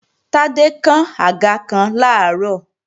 Tádé kán àga kan làárọ̀